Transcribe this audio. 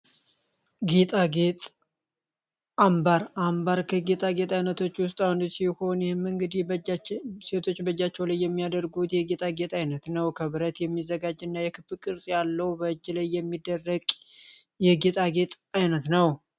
ጌጣጌጥ አምባር አምባር ከጌጣ ጌጥ ዓይነቶች ውስጥ አንዱ ሲሆን፤ ይህም እንግዲህ ሴቶች በጃቸው ላይ የሚያደርጉት የጌጣ ጌጥ አይነት ነው። ከብረት የሚዘጋጅ እና የክብ ቅርጽ ያለው በእጅ ላይ የሚደረግ የጌጣጌጥ አይነት ነው።